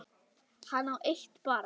Hann á eitt barn.